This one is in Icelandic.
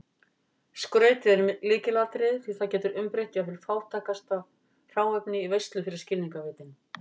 Skrautið er lykilatriði því það getur umbreytt jafnvel fátæklegasta hráefni í veislu fyrir skilningarvitin.